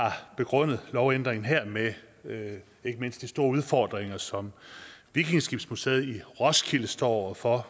begrundet lovændringen her med med ikke mindst de store udfordringer som vikingeskibsmuseet i roskilde står over for